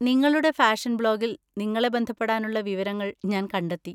നിങ്ങളുടെ ഫാഷൻ ബ്ലോഗിൽ നിങ്ങളെ ബന്ധപ്പെടാനുള്ള വിവരങ്ങൾ ഞാൻ കണ്ടെത്തി.